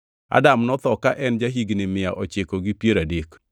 Adam notho ka en ja-higni mia ochiko gi piero adek.